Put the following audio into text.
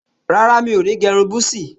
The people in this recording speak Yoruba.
Rárá, mo ní gẹ́ irun búsí